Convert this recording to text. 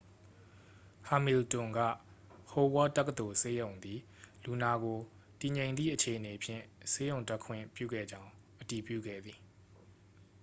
ဟမီလ်တွန် က ဟိုဝါ့ဒ် တက္ကသိုလ်ဆေးရုံးသည် လူနာကို တည်ငြိမ်သည့် အခြေအနေဖြင့် ဆေးရုံတက်ခွင့်ပြုခဲ့ကြောင်း အတည်ပြုခဲ့သည်